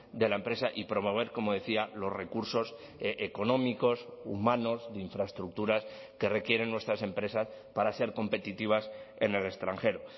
de la empresa y promover como decía los recursos económicos humanos de infraestructuras que requieren nuestras empresas para ser competitivas en el extranjero